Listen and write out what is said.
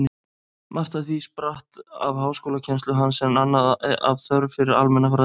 Margt af því spratt af háskólakennslu hans, en annað af þörf fyrir almenna fræðslu.